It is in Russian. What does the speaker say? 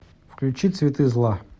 включи цветы зла